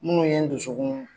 Minnu ye n dusukun